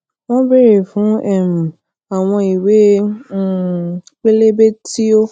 wón béèrè fún um àwọn ìwé um pẹlẹbẹ tí ó